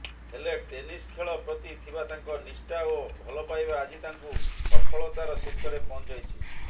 ହେଲେ ଟେନିସ ଖେଳ ପ୍ରତି ଥିବା ତାଙ୍କ ନିଷ୍ଠା ଓ ଭଲପାଇବା ଆଜି ତାଙ୍କୁ ସଫଳତାର ଶୀର୍ଷରେ ପହଞ୍ଚାଇଛି